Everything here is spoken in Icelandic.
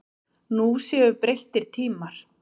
Nú séu breyttir tímar.